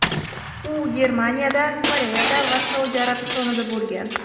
U Germaniyada, Koreyada va Saudiya Arabistonida bo‘lgan.